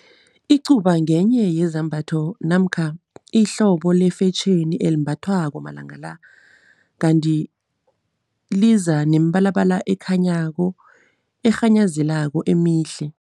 Icuba ngenye yezambatho namkha ihlobo lefetjheni elimbathwako malanga la, kanti liza nemibalabala ekhanyako, erhanyazelako emihle.